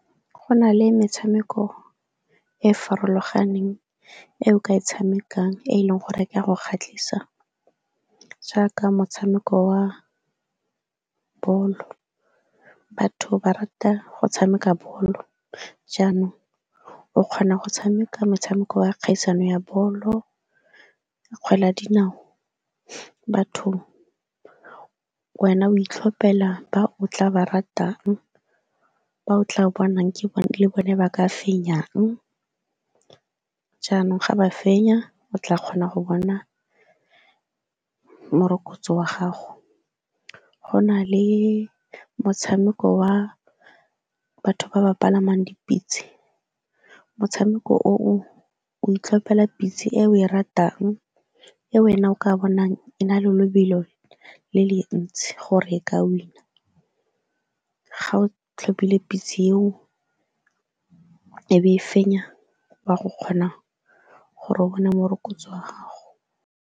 Go na le metshameko e e farologaneng e o ka e tshamekang e e leng gore e ka go kgatlhisa jaaka motshameko wa bolo. Batho ba rata go tshameka bolo jaanong o kgona go tshameka motshameko wa kgaisano ya bolo, kgwele ya dinao bathong, wena o itlhopela ba o tla ba ratang, ba o tla bonang ke bone ba ka fenyang, jaanong ga ba fenya o tla kgona go bona morokotso wa gago. Go na le motshameko wa batho ba ba palamang dipitse, motshameko oo o itlhophela pitse e o e ratang, e wena o ka bonang e na le lobelo le le ntsi gore e ka win-a, ga o tlhophile pitse eo e be e fenya, wa go kgona gore o bone morokotso wa gago.